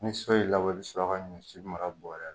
Ni so'y'i labɔ , i bi sɔrɔ ka ɲɔsi mara bɔrɛ la.